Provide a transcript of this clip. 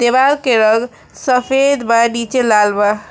देवाल के रंग सफेद बा नीचे लाल बा।